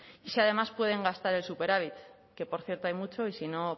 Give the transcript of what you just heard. y si además pueden gastar el superávit que por cierto hay mucho y si no